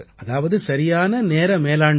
அதாவது சரியான நேர மேலாண்மை